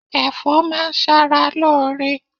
Ẹ̀fọ́ máa ń ṣara lóore.